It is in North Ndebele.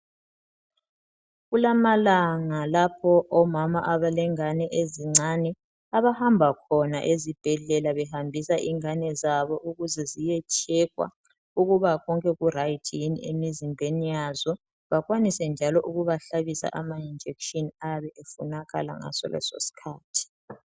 Kulamalanga lapho omama abalengane ezincane abahamba khona ezibhedlela behambisa ingane zabo ukuze ziyetshekwa ukuba konke kurayithi yini emizimbeni yazo . Bakwanise njalo ukubahlabisa ama injekitshini ayabe efunakala ngaleso isikhathi.